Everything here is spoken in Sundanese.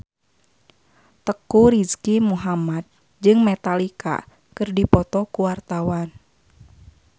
Teuku Rizky Muhammad jeung Metallica keur dipoto ku wartawan